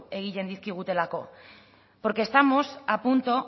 egiten dizkigutelako porque estamos a punto